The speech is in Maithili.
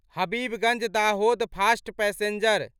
Habibganj Dahod fast passenger